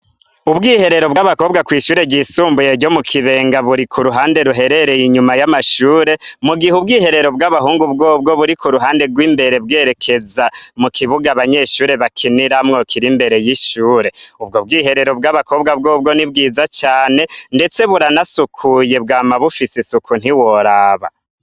Ubwiherero bw'abakobwa kw'ishure ryisumbuye ryo mu kibenga buri ku ruhande ruherereye inyuma y'amashure, mu gihe ubwiherero bw'abahungu bwobwo buri ku ruhande rw'imbere bwerekeza mu kibuga abanyeshure bakiniramwo kirimbere y'ishure, ubwo bwiherero bw'abakobwa bwobwo ni bwiza cane, ndetse buranasukuye bwa mabufisuko ntiworaba.